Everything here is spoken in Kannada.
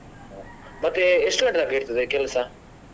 ಮತ್ತೆ ಎಷ್ಟು ಗಂಟೆ ತನಕ ಇರ್ತದೆ ಕೆಲಸ?